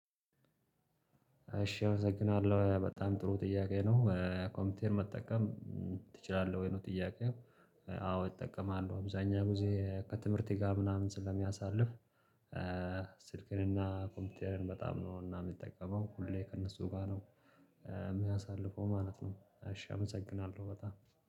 እሺ አመሰግናለሁ። በጣም ጥሩ ጥያቄ ነው። ኮምፒውተር መጠቀም ትችላለህ ወይ? ነው ጥያቄው አዎ እጠቀማለሁ። አብዛህኛውን ጊዜ ከትምህርት ጋር ምናምን ስለማሳልፍ ስልክንና ኮምፒውተርን በጣም ነውና የሚጠቀመው ሁሌ ከእነሱ ጋር ነው የማሳልፈው ማለት ነው። እሽ አመሰግናለሁ በጣም